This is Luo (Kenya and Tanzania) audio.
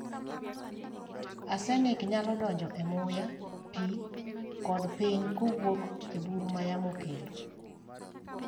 Arsenic nyalo donjo e muya, pi, kod piny kowuok e buru ma yamo kelo.